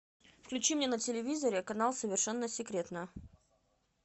включи мне на телевизоре канал совершенно секретно